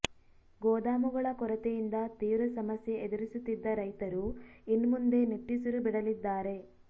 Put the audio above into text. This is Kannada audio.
ಗೋದಾಮುಗಳ ಕೊರತೆಯಿಂದ ತೀವ್ರ ಸಮಸ್ಯೆ ಎದುರಿಸುತ್ತಿದ್ದ ರೈತರೂ ಇನ್ಮುಂದೆ ನಿಟ್ಟುಸಿರು ಬಿಡಲಿದ್ದಾರೆ